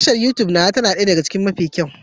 Tashar Youtube nawa ta na ɗaya daga cikin mafi kyau